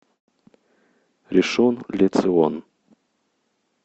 ришон ле цион